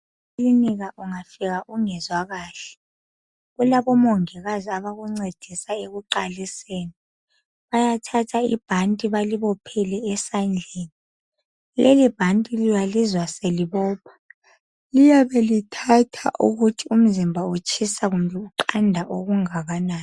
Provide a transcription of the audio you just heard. Ekilinika ungafika ungezwa kahle, kulabomongikazi abakuncedisa ekuqaliseni. Bayathatha ibhanti balibophele esandleni. Lelibhanti uyalizwa selibopha. Liyabe lithatha ukuthi umzimba utshisa kumbe uqanda okungakanani.